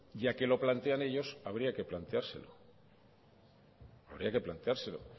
ya que se lo plantean ellos habría que planteárselo habría que planteárselo